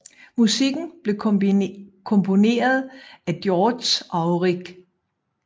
Musikken blev komponeret af Georges Auric